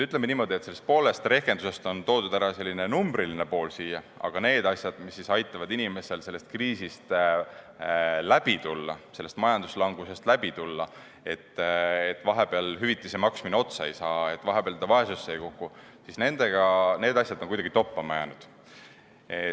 Ütleme niimoodi, et sellest poolest rehkendusest on siin ära toodud selline numbriline pool, aga need asjad, mis siis aitavad inimesel kriisist ja majanduslangusest läbi tulla, nii et vahepeal hüvitise maksmine otsa ei saa ja ta vaesusse ei kuku, on kuidagi toppama jäänud.